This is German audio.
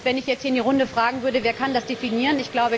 Wenn ich jetzt in die Runde fragen würde Wer kann das definieren?